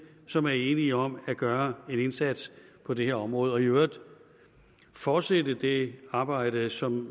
som er enige om at gøre en indsats på det her område og i øvrigt fortsætte det arbejde som